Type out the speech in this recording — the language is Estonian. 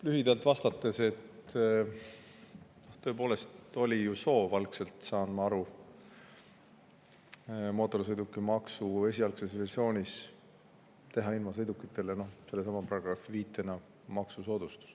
Lühidalt vastates, tõepoolest oli soov algselt, ma saan aru, mootorsõidukimaksu esialgses versioonis teha invasõidukitele sellesama paragrahvi viite kohaselt maksusoodustus.